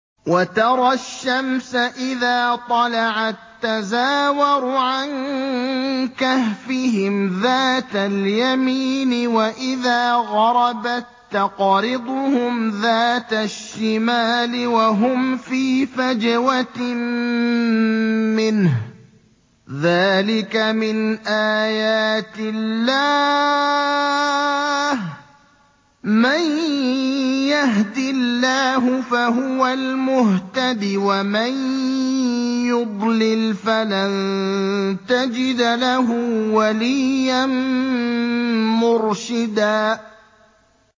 ۞ وَتَرَى الشَّمْسَ إِذَا طَلَعَت تَّزَاوَرُ عَن كَهْفِهِمْ ذَاتَ الْيَمِينِ وَإِذَا غَرَبَت تَّقْرِضُهُمْ ذَاتَ الشِّمَالِ وَهُمْ فِي فَجْوَةٍ مِّنْهُ ۚ ذَٰلِكَ مِنْ آيَاتِ اللَّهِ ۗ مَن يَهْدِ اللَّهُ فَهُوَ الْمُهْتَدِ ۖ وَمَن يُضْلِلْ فَلَن تَجِدَ لَهُ وَلِيًّا مُّرْشِدًا